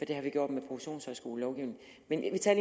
det har vi gjort med professionshøjskolelovgivningen men vi tager